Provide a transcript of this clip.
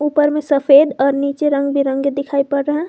ऊपर में सफेद और नीचे रंग बिरंगे दिखाई पड़ रहे है।